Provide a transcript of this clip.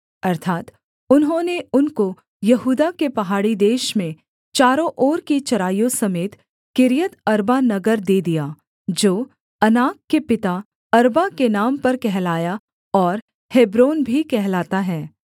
अर्थात् उन्होंने उनको यहूदा के पहाड़ी देश में चारों ओर की चराइयों समेत किर्यतअर्बा नगर दे दिया जो अनाक के पिता अर्बा के नाम पर कहलाया और हेब्रोन भी कहलाता है